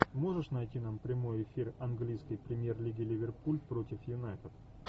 можешь найти нам прямой эфир английской премьер лиги ливерпуль против юнайтед